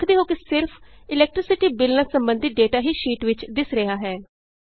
ਤੁਸੀਂ ਵੇਖਦੇ ਹੋ ਕਿ ਸਿਰਫ ਇਲੈਕਟ੍ਰੀਸਿਟੀ Billਨਾਲ ਸੰਬੰਧਿਤ ਡੇਟਾ ਹੀ ਸ਼ੀਟ ਵਿਚ ਦਿੱਸ ਰਿਹਾ ਹੈ